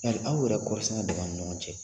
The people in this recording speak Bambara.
Yali aw yɛrɛ kɔɔrisɛnɛ dama ni ɲɔgɔn cɛ